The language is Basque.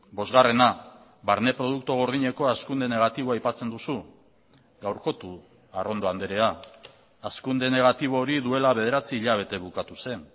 bosgarrena barne produktu gordineko hazkunde negatiboa aipatzen duzu gaurkotu arrondo andrea hazkunde negatibo hori duela bederatzi hilabete bukatu zen